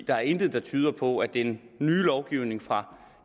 der er intet der tyder på at den nye lovgivning fra